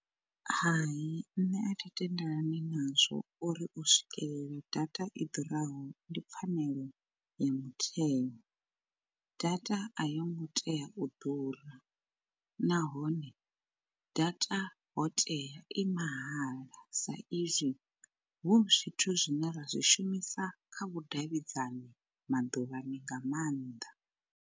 Hai nṋe athi tendelani nazwo uri u swikelela data i ḓuraho ndi pfhanelo ya mutheo. Data a yo ngo tea u ḓura nahone data ho tea i mahala sa izwi hu zwithu zwine ra zwi shumisa kha vhudavhidzani maḓuvhani nga maanḓa.